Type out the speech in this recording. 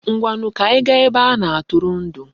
Ngwanu, ka anyi gaa ebe a na-atụrụndụ.